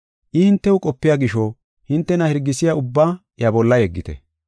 I hintew qopiya gisho hintena hirgisiya ubbaa iya bolla yeggite.